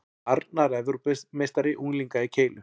Arnar Evrópumeistari unglinga í keilu